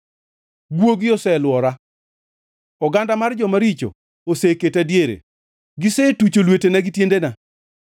Guogi oselwora; oganda mar joma richo oseketa diere, gisetucho lwetena gi tiendena.